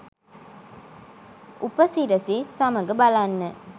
උපසිරසි සමග බලන්න.